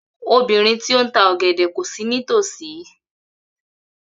Obìnrin ti o n ta ọgẹdẹ ko si nítòsí.